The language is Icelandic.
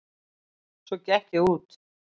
Svo gekk ég út.